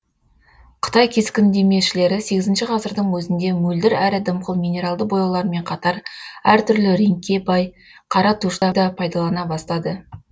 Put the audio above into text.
қытай кескіндемешілері сегізінші ғасырдың өзінде мөлдір әрі дымқыл минералды бояулармен қатар әр түрлі реңкке бай қара тушьты да пайдалана бастады